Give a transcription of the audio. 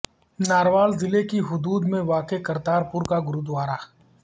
نارووال ضلع کی حدود میں واقع کرتارپورہ کا گوردوارہ